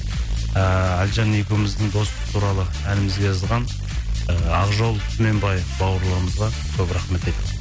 ыыы әліжан екеуіміздің достық туралы әнімізге жазған ы ақжол түменбаев бауырларымызға көп рахмет айт